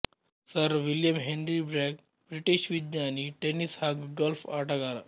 sir William Henry Bragg British ವಿಜ್ಞಾನಿ tennis ಹಾಗೂ golf ಆಟಗಾರ